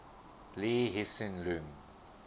lee hsien loong